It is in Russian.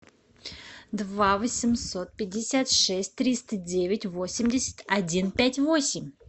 два восемьсот пятьдесят шесть триста девять восемьдесят один пять восемь